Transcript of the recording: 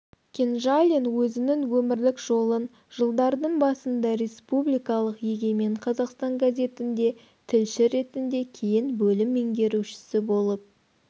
кенжалин өзінің өмірлік жолын жылдардың басында республикалық егемен қазақстан газетінде тілші ретінде кейін бөлім меңгерушісі болып